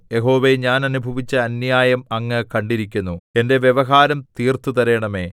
യഹോവേ ഞാൻ അനുഭവിച്ച അന്യായം അങ്ങ് കണ്ടിരിക്കുന്നു എന്റെ വ്യവഹാരം തീർത്ത് തരേണമേ